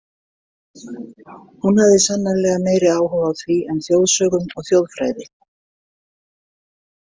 Hún hafði sannarlega meiri áhuga á því en þjóðsögum og þjóðfræði.